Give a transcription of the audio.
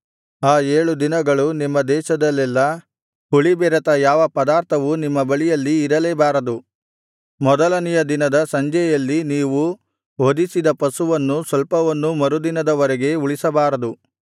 ಆ ಏಳು ದಿನಗಳು ನಿಮ್ಮ ದೇಶದಲ್ಲೆಲ್ಲಾ ಹುಳಿಬೆರೆತ ಯಾವ ಪದಾರ್ಥವೂ ನಿಮ್ಮ ಬಳಿಯಲ್ಲಿ ಇರಲೇಬಾರದು ಮೊದಲನೆಯ ದಿನದ ಸಂಜೆಯಲ್ಲಿ ನೀವು ವಧಿಸಿದ ಪಶುಮಾಂಸದಲ್ಲಿ ಸ್ವಲ್ಪವನ್ನೂ ಮರುದಿನದ ವರೆಗೆ ಉಳಿಸಬಾರದು